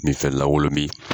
Minfɛn lankolon min